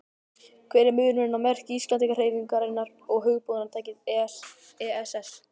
Hver er munurinn á merki Íslandshreyfingarinnar og hugbúnaðarfyrirtækisins ESS?